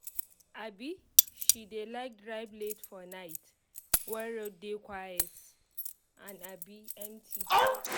um she um dey like drive late for night wen road dey quiet and um empty